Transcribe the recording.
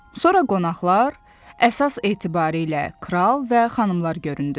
Sonra qonaqlar, əsas etibarilə kral və xanımlar göründü.